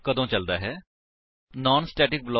org ਹੁਣ ਅਸੀ ਵੇਖਾਂਗੇ ਕਿ ਨਾਨ ਸਟੇਟਿਕ ਬਲਾਕ ਕੀ ਹੈ